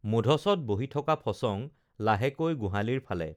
মূধচত বহি থকা ফচং লাহেকৈ গোহালিৰ ফালে